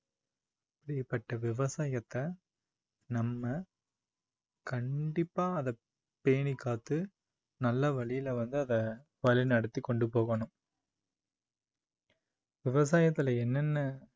அப்படிப்பட்ட விவசாயத்தை நம்ம கண்டிப்பா அதை பேணிக்காத்து நல்ல வழியில வந்து அதை வழிநடத்தி கொண்டுபோகணும் விவசாயத்துல என்னென்ன